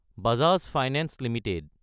Bajaj Finance Ltd